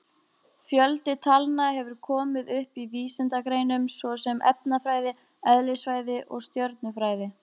Fjöldi talna hefur komið upp í vísindagreinum svo sem efnafræði, eðlisfræði og stjörnufræði.